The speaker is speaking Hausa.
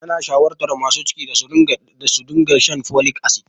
Ana shawartar masu ciki da su dinga shan folic acid.